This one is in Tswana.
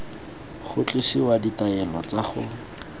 go tlosiwa ditaelo tsa go